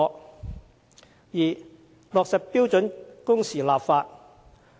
第二，落實標準工時立法。